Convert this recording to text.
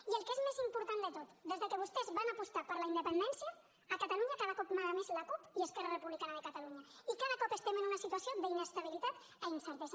i el que és més important de tot des que vostès van apostar per la independència a catalunya cada cop mana més la cup i esquerra republicana de catalunya i cada cop estem en una situació d’inestabilitat i incertesa